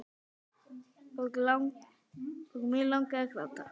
Og mig langar að gráta.